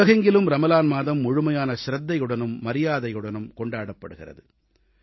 உலகெங்கிலும் ரமலான் மாதம் முழுமையான சிரத்தையுடனும் மரியாதையுடனும் கொண்டாடப் படுகிறது